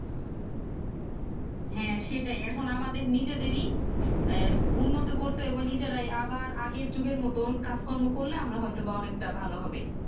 হ্যাঁ সেটাই এখন আমাদের নিজেদেরই আহ উন্নত করতে নিজেরাই আবার আগের যুগের মতোন কাজ কর্ম করলে আমরা হয়তো বা অনেকটা ভালো হবে